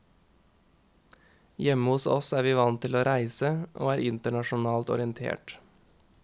Hjemme hos oss er vi vant til å reise, og er internasjonalt orientert.